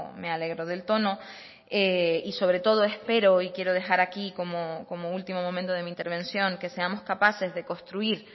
me alegro del tono y sobre todo espero y quiero dejar aquí como último momento de mi intervención que seamos capaces de construir